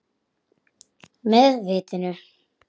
Með vitinu.